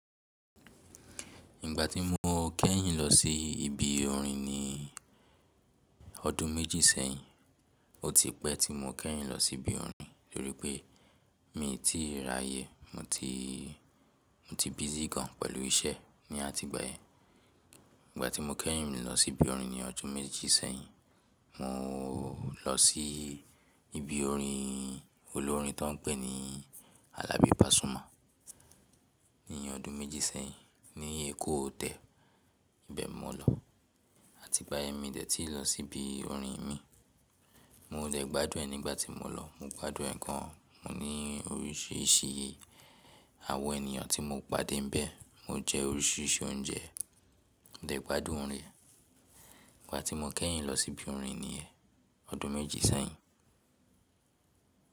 Ìgbà tí mo kẹ́yìn lọ sí ibi orin ní ọdún méjì sẹ́yìn, ó ti pẹ́ tí mo kẹ́yìn lọ sí ibi orin, torí pé m i ti ráyè. Mo ti, mo ti busy gan pẹ̀lú iṣẹ́ ní àti ìgbàyẹn. Ìgbà tí mo kẹ́yìn lọ sí ibi orin ní ọdún méjì sẹ́yìn, mo lọ sí ibi orin olórin tó n pè ní Alabi Pasuma. Ní ọdún méjì sẹ́yìn ní Èkó hotel ibẹ̀ mo lọ. Àti ìgbà yẹn mi dẹ̀ tí ì lọ sí ibi orin mi. Mo dẹ̀ gbádùn ẹ nígbà tí mo lọ. Mo gbádùn ẹ̀ gan. Mo ní oríṣiríṣi àwọn ènìyàn tí mo pàdé níbẹ̀. Mo jẹ oríṣiríṣi oúnjẹ. Mo dẹ̀ gbádùn orin ẹ. Ìgbà tí mo kẹ́yìn lọ sí ibi orin ní yẹn ọdún méjì sẹ́yìn.